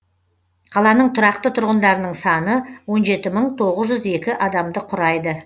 қаланың тұрақты тұрғындарының саны он жеті мың тоғыз жүз екі адамды құрайды